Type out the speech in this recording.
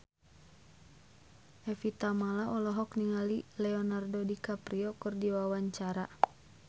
Evie Tamala olohok ningali Leonardo DiCaprio keur diwawancara